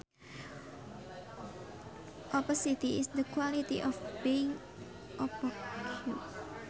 Opacity is the quality of being opaque